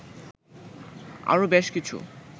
আরও বেশ কিছু